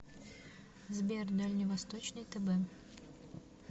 сбер дальневосточный тб